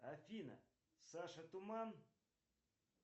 афина саша туман